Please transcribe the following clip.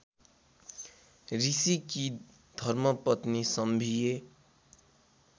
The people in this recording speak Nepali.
ऋषिकी धर्मपत्नी सम्भिए